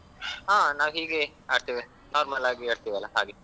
ಹಾ ನಾವ್ ಹೀಗೆ ಆಡ್ತೇವೆ normal ಆಗಿ ಆಡ್ತೇವಲ್ಲಾ ಹಾಗೆ.